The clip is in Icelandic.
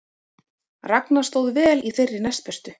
Ragna stóð vel í þeirri næstbestu